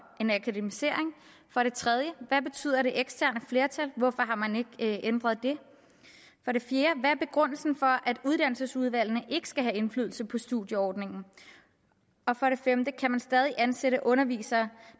en akademisering for det tredje hvad betyder det eksterne flertal hvorfor har man ikke ændret det for det fjerde hvad er begrundelsen for at uddannelsesudvalgene ikke skal have indflydelse på studieordningen og for det femte kan man stadig ansætte undervisere